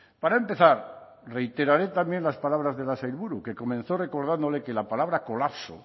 para empezar reiteraré también las palabras de la sailburu que comenzó recordándole que la palabra colapso